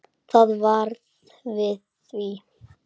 Það varð við því.